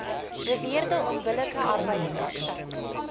beweerde onbillike arbeidspraktyk